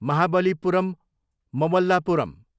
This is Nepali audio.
महाबलीपुरम्, ममल्लापुरम